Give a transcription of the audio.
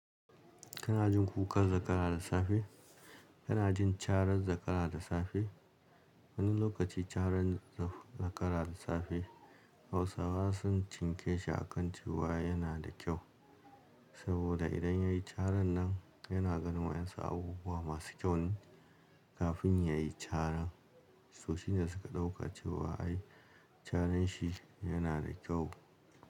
Kana jin kukan zakara da safe, kana jin carar zakara da safe. Wani lokaci carar zakara da safe Hausawa sun cinke shi a kan cewa yana da kyau. Saboda idan ya yi carar nan yana gan wa 'yansu abubuwa masu kyau ne kafin ya yi carar. Soshi ne da suka dauka cewa ai carar shi yana da kyau.